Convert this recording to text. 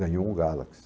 Ganhou um Galaxy.